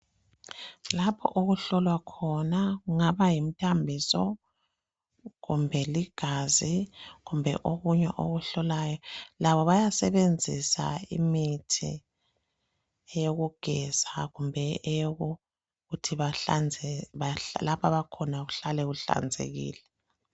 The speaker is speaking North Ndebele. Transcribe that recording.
lapho okuhlolwa khona kungaba yimthambiso kumbe ligazi kumbe okunye okuhlolayo lapha bayasebenzisa imithi eyokugeza kumbe eyokuthi lapho abakhona kuhlale kuhlanzekile